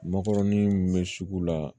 Makɔrɔni min bɛ sugu la